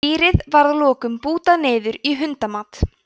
dýrið var að lokum bútað niður í hundamat